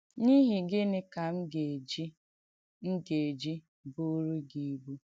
‘N’ìhí gị̣nị́ kà m̀ gà-èjì m̀ gà-èjì bùùrù gị ibù?’